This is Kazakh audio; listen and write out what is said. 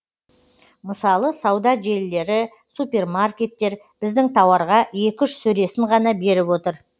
мысалы сауда желілері супермаркеттер біздің тауарға екі үш сөресін ғана беріп отыр